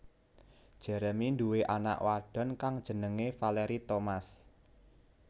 Jeremy duwé anak wadon kang jenengé Valerie Thomas